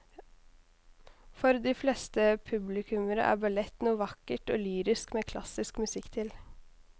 For de fleste publikummere er ballett noe vakkert og lyrisk med klassisk musikk til.